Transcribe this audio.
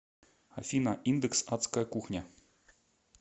афина индекс адская кухня